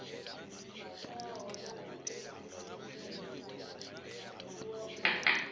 teaho na zwṅwe zwiḽiwa u